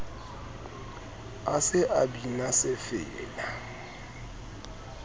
a se a bina sefela